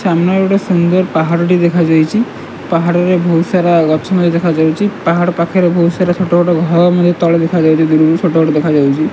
ସାମ୍ନାରେ ଗୋଟେ ସୁନ୍ଦର୍ ପାହାଡ ଟି ଦେଖାଯାଇଚି ପାହାଡ ରେ ବହୁତ୍ ସାରା ଗଛ ମଧ୍ୟ ଦେଖାଯାଉଚି ପାହାଡ ପାଖରେ ବହୁତ୍ ସାରା ଛୋଟ ବଡ ଘର ମଧ୍ୟ ତଳେ ଦେଖାଯାଉଚି ଦୂରୁରୁ ଛୋଟ ବଡ ଦେଖାଯାଉଚି।